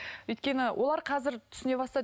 өйткені олар қазір түсіне бастады